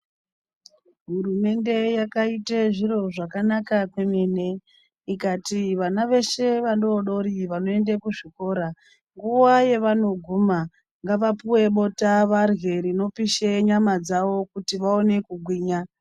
Hurumende yakaite zviro zvakanaka kwememe ikati vana veshe vadodori vanoende kuzvikora nguwa yevanoguma ngavapuwe bota varye rinopisha nyama dzavo kuti vaone kugwinya.